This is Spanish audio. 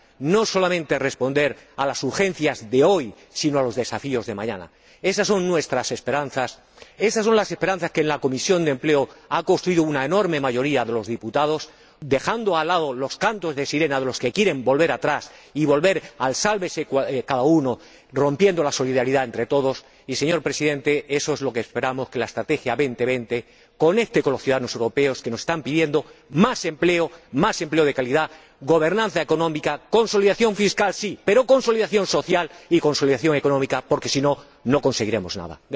no solamente nos permita responder a las urgencias de hoy, sino también a los desafíos de mañana. Esas son nuestras esperanzas, esas son las esperanzas que en la Comisión de Empleo y Asuntos Sociales ha forjado una enorme mayoría de los diputados, dejando de lado los cantos de sirena de los que quieren volver atrás y al sálvese quien pueda, rompiendo la solidaridad entre todos. Y, señor Presidente, eso es lo que esperamos que la Estrategia 2020 conecte con los ciudadanos europeos, que nos están pidiendo más empleo, más empleo de calidad, gobernanza económica, consolidación fiscal —sí—, pero también consolidación social y consolidación económica, porque si no, no conseguiremos nada.